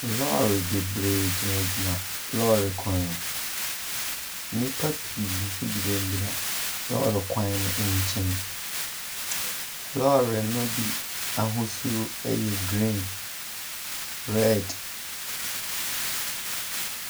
Lɔɔre bebree gyinagyina lɔɔre kwan mu. Nnipa pii nso gyinagyina lɔɔre kwan no nkyɛn. Lɔɔre no bi ahosuo yɛ greem, red.